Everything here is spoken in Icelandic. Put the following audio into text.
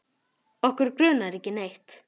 Okkur grunar ekki neitt.